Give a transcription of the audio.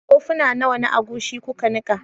Kofuna nawa na agushi kuka nika?